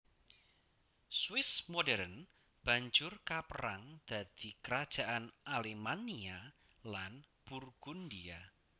Swiss modern banjur kaperang dadi Kerajaan Alemannia lan Burgundia